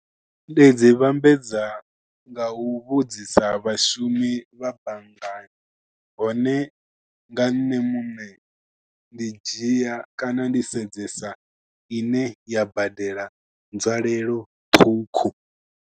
Ndi dzi vhambedza nga u vhudzisa vhashumi vha banngani, hone nga nṋe muṋe ndi dzhia kana, ndi sedzesa ine ya badela nzwalelo ṱhukhu.